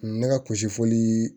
Ne ka kusi foli